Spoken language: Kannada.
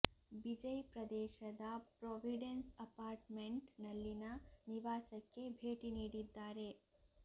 ಬಿಜೈ ಪ್ರದೇಶದ ಪ್ರಾವಿಡೆನ್ಸ್ ಅಪಾರ್ಟ್ ಮೆಂಟ್ ನಲ್ಲಿನ ನಿವಾಸಕ್ಕೆ ಭೇಟಿ ನೀಡಿದ್ದಾರೆ